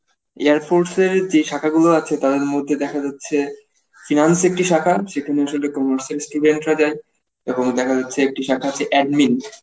air force এর যে শাখা গুলো আছে তাদের মধ্যে দেখা যাচ্ছে finance একটি শাখা সেখানে আসলে commerce এর student রা যায় এবং দেখা যাচ্ছে একটি শাখা হচ্ছে admin